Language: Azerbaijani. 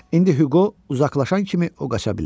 İndi Hüqo uzaqlaşan kimi o qaça bilər.